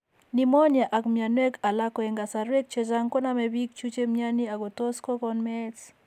Pneumonia ak mnyanwek alak ko eng' kasarwek chechang' konome biik chu che mnyani ak ko tos' ko kon meet.